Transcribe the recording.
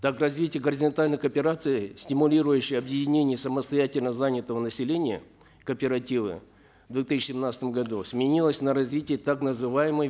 так развитие горизонтальной кооперации стимулирующее объединение самостоятельно занятого населения кооперативы в две тысячи семнадцатом году сменилось на развитие так называемой